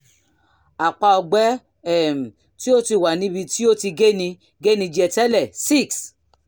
àpá ọgbẹ́ um tí ó ti wà níbi tí ó ti geni geni jẹ tẹ́lẹ̀ six